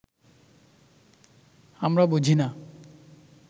আমরা বুঝি না